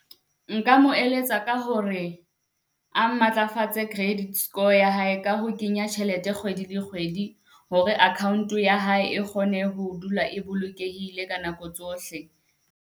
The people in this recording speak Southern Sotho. Nka mo eletsa ka hore a matlafatse credit score ya hae ka ho kenya tjhelete kgwedi le kgwedi hore account-o ya hae e kgone ho dula e bolokehile ka nako tsohle.